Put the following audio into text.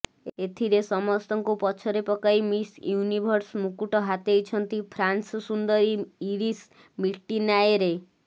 ଏଥିରେ ସମସ୍ତଙ୍କୁ ପଛରେ ପକାଇ ମିସ ୟୁନିଭର୍ସ ମୁକୁଟ ହାତେଇଛନ୍ତି ଫ୍ରାନ୍ସ ସୁନ୍ଦରୀ ଇରିସ ମିଟିନାଏରେ